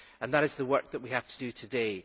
And that is the work that we have to do today.